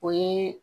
O ye